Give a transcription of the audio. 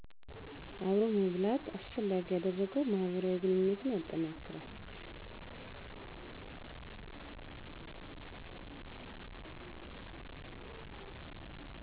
አብሮ መብላት አስፈላጊ ያደረገው ማህበራዊ ግንኙነትን ያጠናክራል